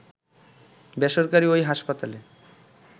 বেসরকারি ওই হাসপাতালে